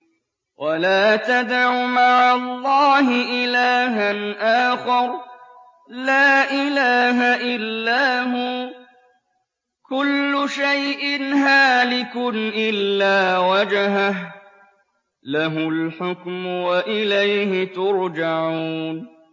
وَلَا تَدْعُ مَعَ اللَّهِ إِلَٰهًا آخَرَ ۘ لَا إِلَٰهَ إِلَّا هُوَ ۚ كُلُّ شَيْءٍ هَالِكٌ إِلَّا وَجْهَهُ ۚ لَهُ الْحُكْمُ وَإِلَيْهِ تُرْجَعُونَ